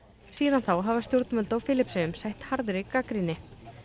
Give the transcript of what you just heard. síðan þá hafa stjórnvöld á Filippseyjum sætt harði gagnrýni